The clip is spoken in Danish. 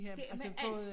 Det er med alt